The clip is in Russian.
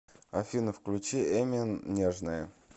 афина включи эмин нежная